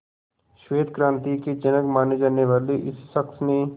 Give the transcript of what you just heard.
श्वेत क्रांति के जनक माने जाने वाले इस शख्स ने